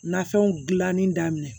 Nafɛnw gilanni daminɛ